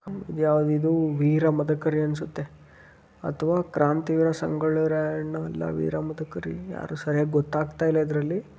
ಇದ್ ಯಾವುದಿದು ವೀರ ಮದಕರಿ ಅನ್ಸುತ್ತೆ. ಅಥವಾ ಕಾಂತಿ ವೀರ ಸಂಗೊಳ್ಳಿ ರಾಯಣ್ಣ ಇಲ್ಲ ವೀರ ಮದಕರಿ ಯಾರು ಸರಿಯಾಗ್ ಗೊತ್ತಾಗತ್ತಾಯಿಲ್ಲಾ ಇದ್ರಲ್ಲಿ.